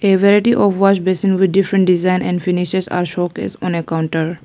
A variety of washbasin with different design and finishes are showcase on a counter.